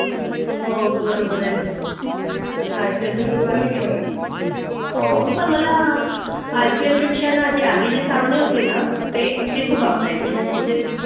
हो बरोबर आहे . काळ सुरु आहे . हो का मला IPL पेक्षा नाझी आधी चे सामने होते ना ते ते खूप आवडायचे आहेत. म्हणजे